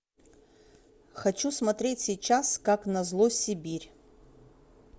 хочу смотреть сейчас как назло сибирь